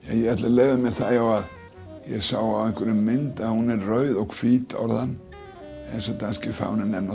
ég ætla að leyfa mér það ef ég sá á einhverri mynd að hún er rauð og hvít orðan eins og danski fáninn er